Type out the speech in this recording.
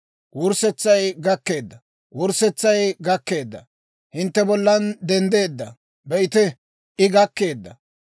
Wurssetsay gakkeedda! Wurssetsay gakkeedda! I hintte bollan denddeedda. Be'ite, I gakkeedda!